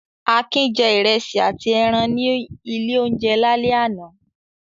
Akin jẹ ìrẹsì àti ẹran ní ilé-oúnjẹ lálẹ́ àná.